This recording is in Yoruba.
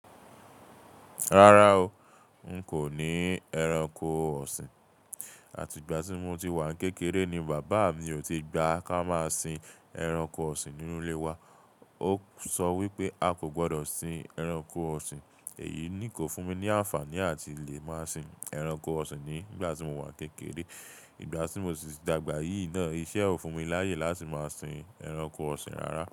Rárá o, n kò ní ẹranko ọ̀sìn. Àti ìgbà tí mo ti wà kékeré ni bàbá mi ò ti gba ká máa sin ẹranko ọ̀sìn nínú ilé wa. Ó sọ wípé a kò gbọ́dọ̀ sin ẹranko ọ̀sìn. Èyí ni kò fún mi ní àǹfààní àti lè máa sin ẹranko ọ̀sìn ní ìgbà tí mo wà kékeré. Ìgbà tí mo sì dàgbà yìí náà iṣẹ́ ò fún mi láyè láti máa sin ẹranko ọ̀sìn rárá.